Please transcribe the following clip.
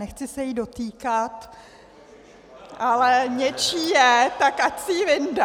Nechci se jí dotýkat, ale něčí je, tak ať si ji vyndá.